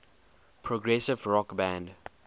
progressive rock band